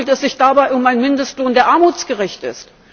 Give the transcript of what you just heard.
Aber handelt es sich dabei um einen Mindestlohn, der armutsgerecht ist?